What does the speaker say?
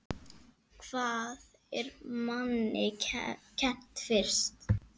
Hvað er manni kennt fyrst?